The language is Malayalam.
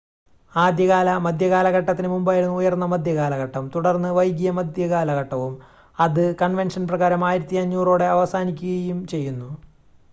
ആദ്യകാല മധ്യകാലഘട്ടത്തിന് മുമ്പായിരുന്നു ഉയർന്ന മധ്യകാലഘട്ടം തുടർന്ന് വൈകിയ മധ്യകാലഘട്ടവും അത് കൺവെൻഷൻ പ്രകാരം 1500 ഓടെ അവസാനിക്കുകയും ചെയ്യുന്നു